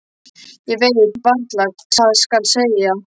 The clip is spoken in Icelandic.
Ég veit varla hvað skal segja.